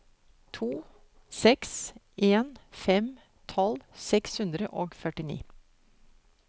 to seks en fem tolv seks hundre og førtini